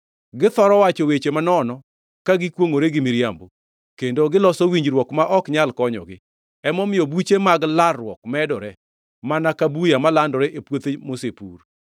Githoro wacho weche manono ka gikwongʼore gi miriambo, kendo giloso winjruok ma ok nyal konyogi; emomiyo buche mag larruok medore mana ka buya malandore e puothe mosepur.